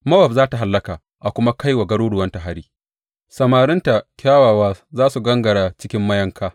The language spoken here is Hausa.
Mowab za tă hallaka a kuma kai wa garuruwanta hari; samarinta kyawawa za su gangara cikin mayanka,